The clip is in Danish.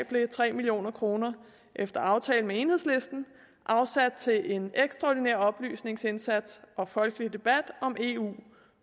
blev tre million kroner efter aftale med enhedslisten afsat til en ekstraordinær oplysningsindsats og folkelig debat om eu